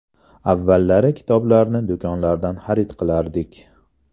Avvallari kitoblarni do‘konlardan xarid qilardik.